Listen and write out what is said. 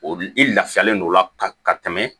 O i lafiyalen don o la ka tɛmɛ